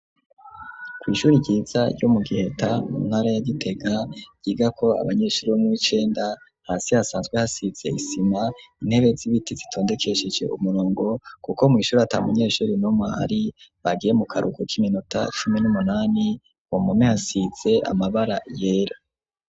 Kw'ishuri ryiza ryo mu Giheta mu ntara ya Gitega, ryigako abanyeshuri bo muw'icenda hasi hasanzwe hasize isima, intebe z'ibiti zitondekesheje umurongo, kuko mw'ishuri ata munyeshuri n'umwe ahari, bagiye mu karuhuko k'iminota cumi n'umunani, Ku mpome hasize amabara yera.